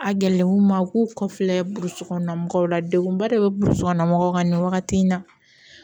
A gɛlɛnw ma u k'u kɔfilɛ burusi kɔnɔna mɔgɔw la degunba de bɛ burusi kɔnɔna mɔgɔw kan nin wagati in na